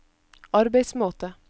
arbeidsmåte